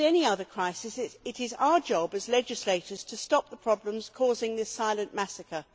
As with any other crisis, it is our job as legislators to stop the problems causing this silent massacre.